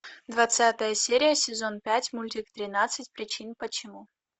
двадцатая серия сезон пять мультик тринадцать причин почему